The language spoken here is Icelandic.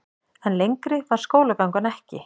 En lengri varð skólagangan ekki.